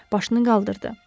Başını qaldırdı.